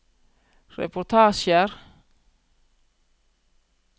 reportasjer